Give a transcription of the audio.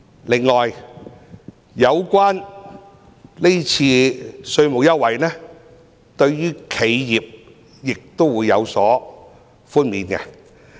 此外，是次稅務優惠對企業亦有寬免。